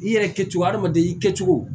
I yɛrɛ kɛcogo adamaden i kɛcogo